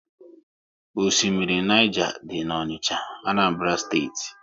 Oshimmiri Niger dị n'Onicha, Anambra Steeti